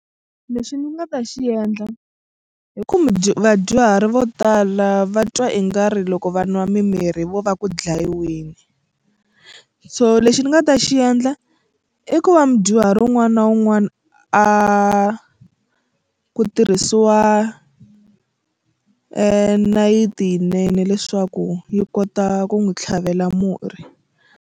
Lexi ni nga ta xi endla i ku vadyuhari vo tala va twa i nga ri loko va nwa mimirhi vo va ku dlayiweni so lexi ni nga ta xi endla i ku va mudyuhari wun'wana na wun'wana a ku tirhisiwa nayiti yinene leswaku yi kota ku n'wi tlhavela murhi.